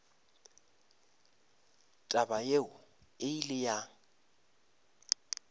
taba yeo e ile ya